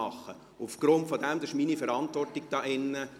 Dies ist meine Verantwortung hier drin.